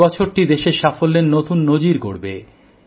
এই বছরটি দেশের সাফল্যের নতুন নজির গড়বে